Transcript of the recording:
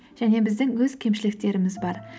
және біздің өз кемшіліктеріміз бар